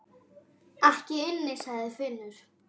Ekki inni, sagði Finnur.